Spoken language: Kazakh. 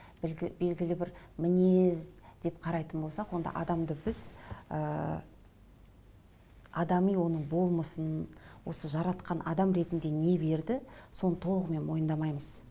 белгілі бір мінез деп қарайтын болсақ онда адамды біз ыыы адами оның болмысын осы жаратқан адам ретінде не берді соны толығымен мойындамаймыз